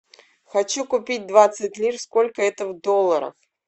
хочу купить двадцать лир сколько это в долларах